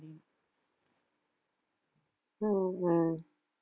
உம் உம்